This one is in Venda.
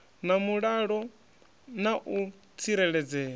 na mulalo na u tsireledzea